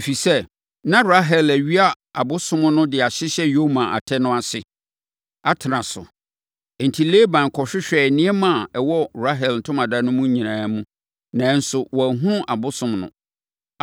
Ɛfiri sɛ, na Rahel awia abosom no de ahyehyɛ ne yoma no atɛ ase, atena so. Enti, Laban kɔhwehwɛɛ nneɛma a ɛwɔ Rahel ntomadan no nyinaa mu, nanso wanhunu abosom no.